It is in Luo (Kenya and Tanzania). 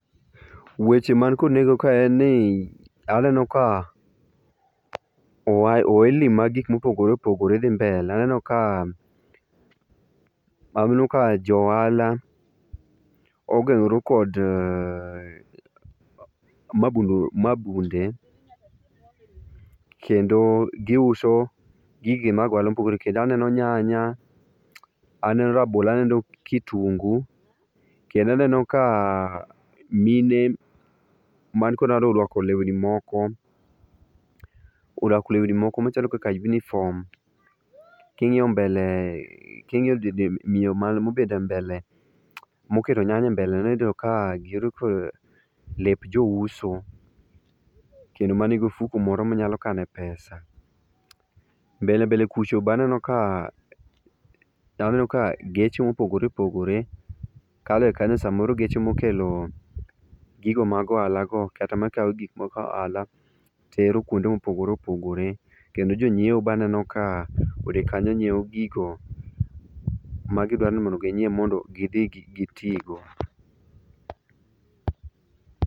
weche man kod neng'o ka en ni ,aneno ka ohelni mag gik mopogore opogore dhi mbele aneno ka jo ohala ogeng'ore kod mabunde kendo gi uso gige mag ohala mopogore kendo aneno nyanya aneno rabolo aneno kitungu kendo aneno ika mine man gi ohand ni go oruako lewni moko, oruako lewni moko machalo kaka uniform king'iyo miyo mobet e mbele, moketo nyanya e mbele ne ibiro neno ka ibiro neno ka giruako lep jo uso, kendo man gi ofuko moro minyalo kane pesa, mbele bende kucha be aneno ka geche mopogore opogore kalo ga kanyo samoro geche mokelo gigo ma g ohalaa go kata makawo gik mag ohalo tero kuonde mopogore opogore, kendo jonyiewo be aneno kanyo ka odhi kanyoyo nyiewo gigo magi dwaro mondo gi nyiew gidhi gi tigo.